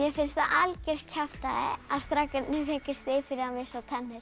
finnst það algjört kjaftæði að strákarnir fengu stig fyrir að missa tennur